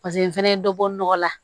Paseke n fɛnɛ ye dɔ bɔ nɔgɔ la